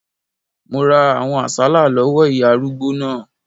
Mo ra àwọn àsálà lọ́wọ́ ìyá arúgbó náà